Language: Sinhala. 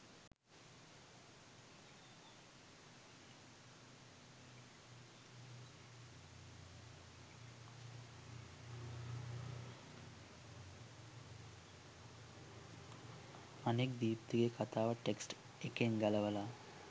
අනෙක් දීප්තිගේ කථාව ටෙක්ස්ට් එකෙන් ගලවල